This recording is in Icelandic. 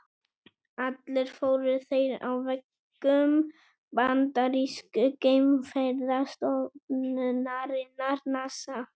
Allir fóru þeir á vegum bandarísku geimferðastofnunarinnar NASA.